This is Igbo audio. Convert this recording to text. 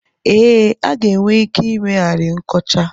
Ee, a ga-enwe ike ị meghari nkọcha.